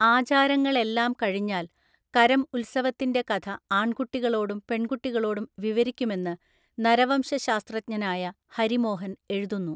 ആചാരങ്ങളെല്ലാം കഴിഞ്ഞാൽ കരം ഉത്സവത്തിൻ്റെ കഥ ആൺകുട്ടികളോടും പെൺകുട്ടികളോടും വിവരിക്കുമെന്ന് നരവംശശാസ്ത്രജ്ഞനായ ഹരി മോഹൻ എഴുതുന്നു.